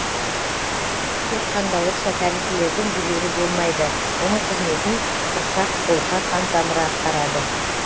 тек қандауырша тәрізділердің жүрегі болмайды оның қызметін құрсақ қолқа қантамыры атқарады